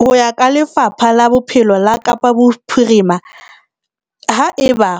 Ho ya ka Lefapha la Bophelo la Kapa Bophirima, haeba